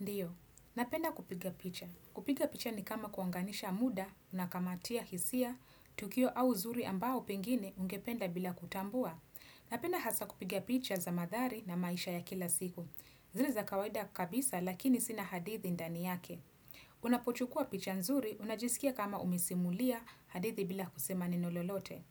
Ndiyo, napenda kupiga picha. Kupiga picha ni kama kuunganisha muda, unakamatia hisia, tukio au zuri ambao pengine ungependa bila kutambua. Napenda hasa kupiga picha za madhari na maisha ya kila siku. Zile za kawaida kabisa lakini zina hadithi ndani yake. Unapochukua picha nzuri, unajisikia kama umisesimulia, hadithi bila kusema neno lolote.